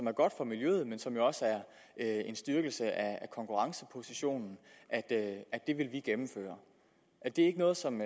er godt for miljøet men som også er en styrkelse af konkurrencepositionen det vil vi gennemføre er det ikke noget som